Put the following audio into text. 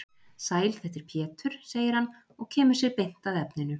Sæl þetta er Pétur, segir hann og kemur sér beint að efninu.